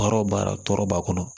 Baara o baara tɔɔrɔ b'a kɔnɔ